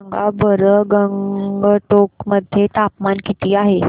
सांगा बरं गंगटोक मध्ये तापमान किती आहे